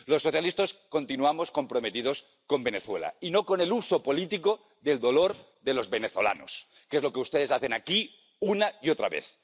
Los socialistas continuamos comprometidos con Venezuela, y no con el uso político del dolor de los venezolanos, que es lo que ustedes hacen aquí una y otra vez.